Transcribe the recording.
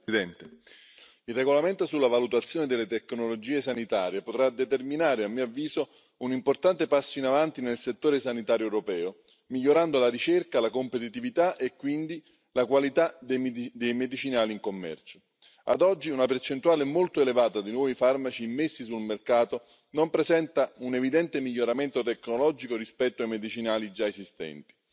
Signor Presidente, onorevoli colleghi, il regolamento sulla valutazione delle tecnologie sanitarie potrà determinare, a mio avviso, un importante passo in avanti nel settore sanitario europeo, migliorando la ricerca, la competitività e quindi la qualità dei medicinali in commercio. Ad oggi, una percentuale molto elevata di nuovi farmaci immessi sul mercato non presenta un evidente miglioramento tecnologico rispetto ai medicinali già esistenti.